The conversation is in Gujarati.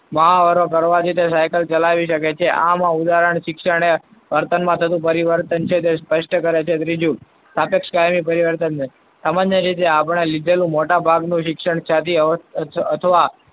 મહાવરો કરવાથી તે cycle ચલાવી શકે છે આમ ઉદાહરણ ક્ષણે વર્તનમાં થતું પરિવર્તન જે સ્પષ્ટ કરે છે. ત્રીજું સાપેક્ષ કાયમી પરિવર્તન. સામાન્ય રીતે આપણે લીધેલું મોટાભાગનું શિક્ષણ,